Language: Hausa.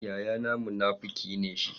Yayana munafuki ne shi.